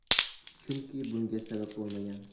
Chunki bunga sabab bo‘lmagan.